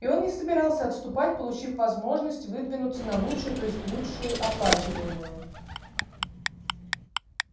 и он не собирался отступать получив возможность выдвинуться на лучшую то есть лучше оплачиваемую